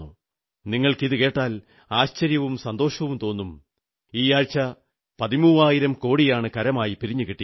നിങ്ങൾക്കിതു കേട്ടാൽ ആശ്ചര്യവും സന്തോഷവും തോന്നും ഈയാഴ്ച പതിമൂവായിരം കോടിയാണ് കരമായി പിരിഞ്ഞു കിട്ടിയത്